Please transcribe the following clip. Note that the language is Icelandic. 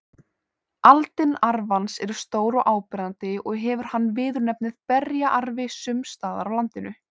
Aldin arfans eru stór og áberandi og hefur hann viðurnefnið berjaarfi sums staðar á landinu.